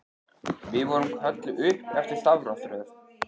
Við vorum kölluð upp eftir stafrófsröð.